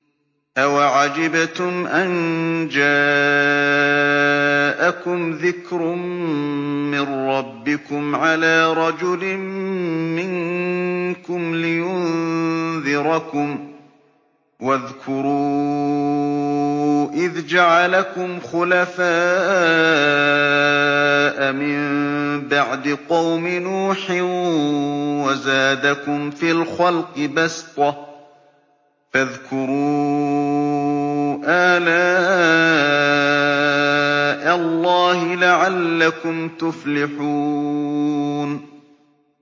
أَوَعَجِبْتُمْ أَن جَاءَكُمْ ذِكْرٌ مِّن رَّبِّكُمْ عَلَىٰ رَجُلٍ مِّنكُمْ لِيُنذِرَكُمْ ۚ وَاذْكُرُوا إِذْ جَعَلَكُمْ خُلَفَاءَ مِن بَعْدِ قَوْمِ نُوحٍ وَزَادَكُمْ فِي الْخَلْقِ بَسْطَةً ۖ فَاذْكُرُوا آلَاءَ اللَّهِ لَعَلَّكُمْ تُفْلِحُونَ